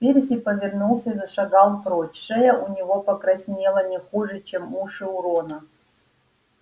перси повернулся и зашагал прочь шея у него покраснела не хуже чем уши у рона